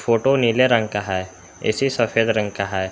Auto नीले रंग का है ए_सी सफेद रंग का है।